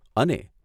અને